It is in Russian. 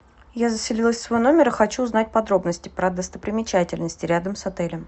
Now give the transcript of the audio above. я заселилась в свой номер и хочу узнать подробности про достопримечательности рядом с отелем